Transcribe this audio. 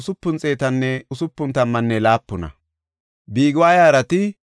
Beetelemeninne Naxoofan de7iya asay 188;